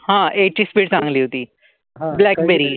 हा एक ची स्पीड चांगली होती, ब्लॅकबेरी.